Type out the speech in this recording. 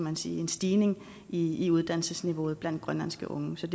en stigning stigning i uddannelsesniveauet blandt grønlandske unge så